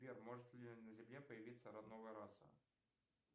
сбер может ли на земле появиться новая раса